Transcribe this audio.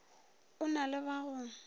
o na le ba go